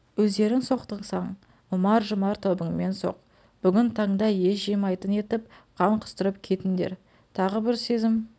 өздерің соқтықсаң ұмар-жұмар тобыңмен соқ бүгін таңда ес жимайтын етіп қан құстырып кетіндер тағы бір сезім